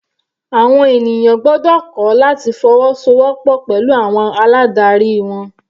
Àwọn ènìyàn gbọ́dọ̀ kọ́ láti fọwọ́so wọ́pọ̀ pẹ̀lú àwọn aládarí wọn.